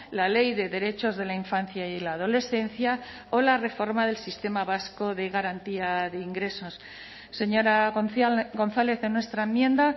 la ley de derechos de la infancia y la adolescencia o la reforma del sistema vasco de garantía de ingresos señora gonzález en nuestra enmienda